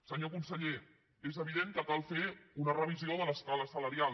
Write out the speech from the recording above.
senyor conseller és evident que cal fer una revisió de l’escala salarial